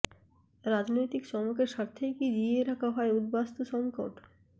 রাজনৈতিক চমকের স্বার্থেই কি জিইয়ে রাখা হয় উদ্বাস্তু সঙ্কট